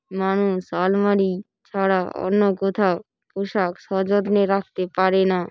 মানুষ আলমারি ছাড়া অন্য কোথাও পোশাক সযত্নে রাখতে পারে না।